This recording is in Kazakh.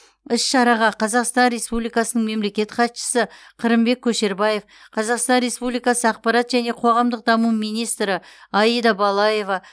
іс шараға қазақстан республикасының мемлекеттік хатшысы қырымбек көшербаев қазақстан республикасы ақпарат және қоғамдық даму министрі аида балаева